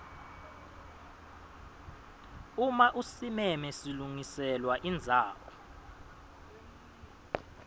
uma usimeme silungiselwa indzawo